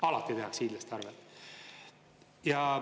Alati tehakse hiidlaste arvel.